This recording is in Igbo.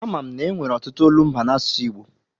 A ma m na-enwere ọtụtụ olumba n'asụsụ Igbo.